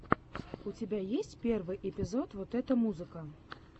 у тебя есть первый эпизод вот это музыка